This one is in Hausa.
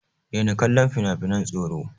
Daina kallon finafinan tsoro!